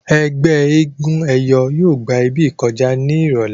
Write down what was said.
ẹgbẹ éégun eyọ yóò gbà ibí kọjá ní irọlẹ.